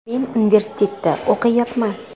Men universitetda o‘qiyapman.